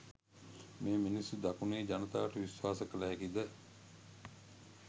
මේ මිනිස්සු දකුණේ ජනතාවට විශ්වාස කළ හැකිද?